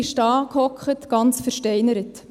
Sie sass da, ganz versteinert.